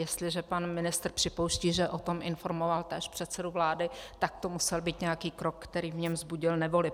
Jestliže pan ministr připouští, že o tom informoval též předsedu vlády, tak to musel být nějaký krok, který v něm vzbudil nevoli.